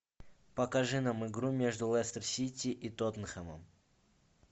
покажи нам игру между лестер сити и тоттенхэмом